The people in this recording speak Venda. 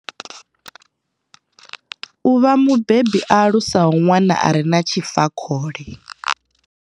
U vha mubebi a alusaho ṅwana a re na tshifakhole.